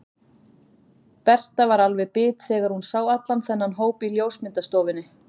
Berta var alveg bit þegar hún sá allan þennan hóp í ljósmyndastofunni.